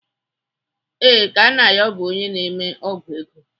Ee, Kanayo bụ onye na-eme ọ́gwụ̀ ego.